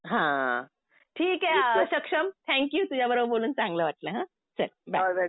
हा. ठीक आहे सक्षम थँक यु. तुझ्याबरोबर बोलून चांगलं वाटलं हा. चल बाय.